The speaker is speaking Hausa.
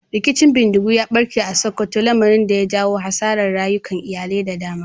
Rikicin bindigu ya barke a Sokoto, lamarin da ya janyo hasarar rayukan iyalai da dama.